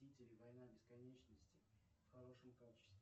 мстители война бесконечности в хорошем качестве